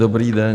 Dobrý den.